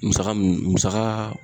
Musaka mun musaka